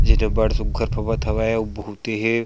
चित्र बड़ सुग्घर फभत हावय अउ बहुत ही--